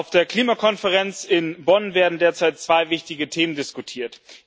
Auf der Klimakonferenz in Bonn werden derzeit zwei wichtige Themen diskutiert.